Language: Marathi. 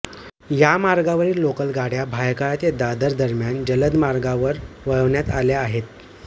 या मार्गावरील लोकल गाड्या भायखळा ते दादर दरम्यान जलदमार्गावर वळवण्यात आल्या आहेत